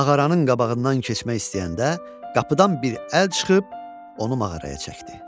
Mağaranın qabağından keçmək istəyəndə, qapıdan bir əl çıxıb onu mağaraya çəkdi.